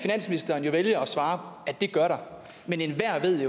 der vælger finansministeren at svare at det gør der men enhver ved